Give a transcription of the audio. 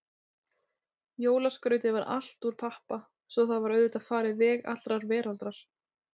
Jólaskrautið var allt úr pappa, svo það var auðvitað farið veg allrar veraldar.